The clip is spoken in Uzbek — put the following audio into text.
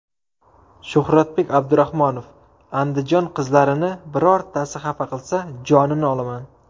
Shuhratbek Abdurahmonov: Andijon qizlarini birortasi xafa qilsa, jonini olaman.